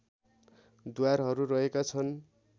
द्वारहरू रहेका छन्